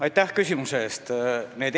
Aitäh küsimuse eest!